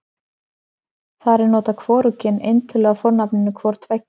þar er notað hvorugkyn eintölu af fornafninu hvor tveggja